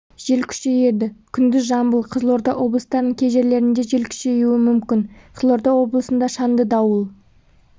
жел күшейеді күндіз жамбыл қызылорда облыстарының кей жерлерінде жел күшеюі мүмкін қызылорда облысында шаңды дауыл